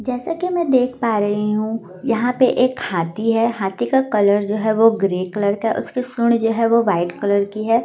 जैसा कि मैं देख पा रही हूं यहां पे एक हाथी है हाथी का कलर जो है वह ग्रे कलर का उसकी सुण जो है वह वाइट कलर की है।